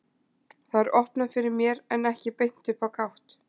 Það er opnað fyrir mér en ekki beint upp á gátt.